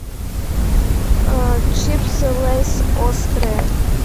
чипсы лейс острые